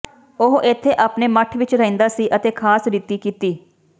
ਉਹ ਇੱਥੇ ਆਪਣੇ ਮੱਠ ਵਿਚ ਰਹਿੰਦਾ ਸੀ ਅਤੇ ਖਾਸ ਰੀਤੀ ਕੀਤੀ